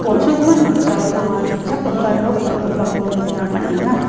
on·sogimin noksao anga dongchakgipa nok dal·gipako nikna man·enga.